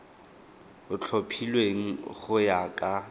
o tlhophilweng go ya ka